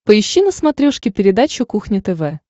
поищи на смотрешке передачу кухня тв